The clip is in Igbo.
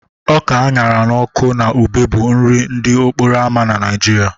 Ọka a ṅara n'ọkụ na ube bụ nri ndị okporo ámá na Nigeria